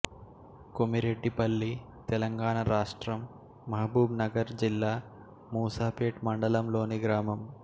కొమిరెడ్డిపల్లి తెలంగాణ రాష్ట్రం మహబూబ్ నగర్ జిల్లా మూసాపేట్ మండలంలోని గ్రామం